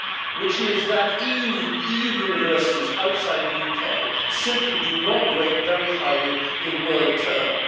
which is that EU universities outside the UK simply do not rate very highly in world terms.